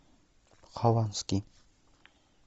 хованский